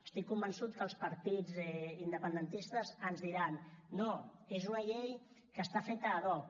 estic convençut que els partits independentistes ens diran no és una llei que està feta ad hoc